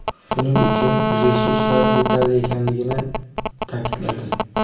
Buning uchun resurslar yetarli ekanligini ta’kidladi.